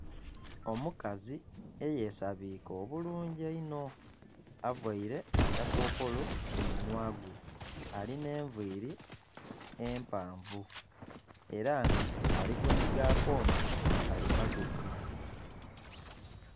Omukazi eye sabike obulungi einho avaire akakokolo ku munhwa gwe alina enviri empanvu era nga ali kunhiga akooma ka kalimagezi.